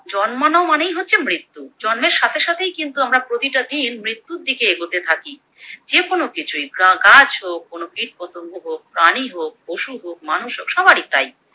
জন্মানো মানেই হচ্ছে মৃত্যু, জন্মের সাথে সাথেই কিন্তু আমরা প্রতিটা দিন মৃত্যুর দিকে এগোতে থাকি, যে কোনো কিছুই গাছ হোক কোনো কীটপতঙ্গ হোক কোনো প্রাণী হোক পশু হোক মানুষ হোক সবারই তাই